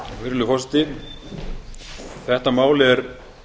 virðulegur forseti þetta mál er